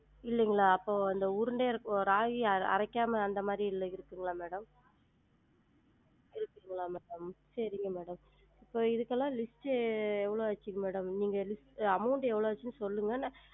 இல்லைங்களா? அப்போ அந்த உருண்டையா இருக் ராகி அரைக்காம அந்த மாதிரி இல்ல இருக்குங்களா madam? இருக்குங்களா? செரிங்க madam இப்போ இதுக்கெலாம் list உ எவ்ளோ ஆச்சு madam நீங்க list amount எவ்வளோ ஆச்சு சொன்னீங்கன்னா நா